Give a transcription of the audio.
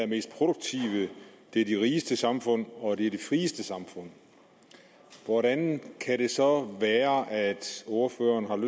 mest produktive det er de rigeste samfund og det er de frieste samfund hvordan kan det så være at ordføreren